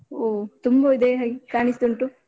ಒಹ್ ತುಂಬ ಇದ್ದಾಗೆ ಕಾಣಿಸ್ತ ಉಂಟು.